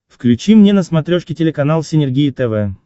включи мне на смотрешке телеканал синергия тв